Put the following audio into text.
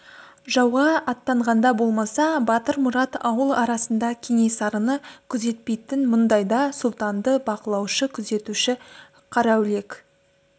жауға аттанғанда болмаса батырмұрат ауыл арасында кенесарыны күзетпейтін мұндайда сұлтанды бақылаушы күзетуші қараүлек